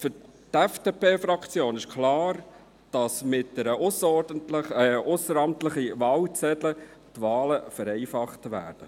Für die FDP-Fraktion ist klar, dass die Wahlen mit ausseramtlichen Wahlzetteln vereinfacht würden.